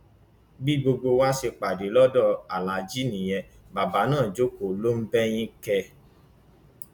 bí gbogbo wa ṣe pàdé lọdọ aláàjì nìyẹn bàbá náà jókòó ló ń bẹyìn kẹẹ